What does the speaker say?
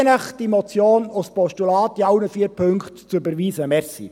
Ich bitte Sie, diese Motion in allen vier Punkten als Postulat zu überweisen.